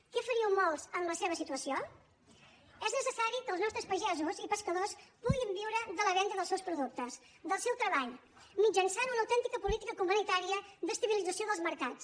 què faríeu molts en la seva situació és necessari que els nostres pagesos i pescadors puguin viure de la venda dels seus productes del seu treball mitjançant una autèntica política comunitària d’estabilització dels mercats